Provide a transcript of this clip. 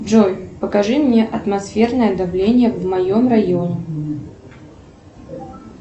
джой покажи мне атмосферное давление в моем районе